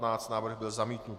Návrh byl zamítnut.